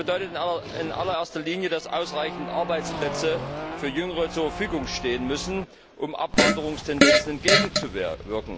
Das bedeutet in allererster Linie, dass ausreichend Arbeitsplätze für Jüngere zur Verfügung stehen müssen, um Abwanderungstendenzen entgegenzuwirken.